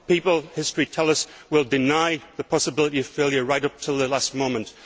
As history tells us, people will deny the possibility of failure right up to the last moment.